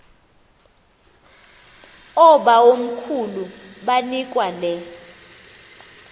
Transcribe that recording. oobawomkhulu banikwa le